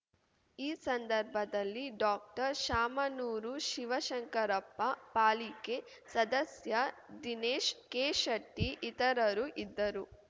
ಈ ಸಂದರ್ಭದಲ್ಲಿ ಡಾಕ್ಟರ್ಶಾಮನೂರು ಶಿವಶಂಕರಪ್ಪ ಪಾಲಿಕೆ ಸದಸ್ಯ ದಿನೇಶ್ ಕೆಶೆಟ್ಟಿ ಇತರರು ಇದ್ದರು